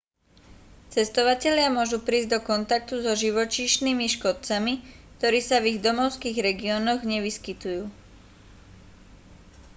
cestovatelia môžu prísť do kontaktu so živočíšnymi škodcami ktorí sa v ich domovských regiónoch nevyskytujú